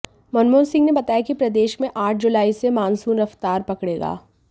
मनमोहन सिंह ने बताया कि प्रदेश में आठ जुलाई से मानसून रफ्तार पकड़ेगा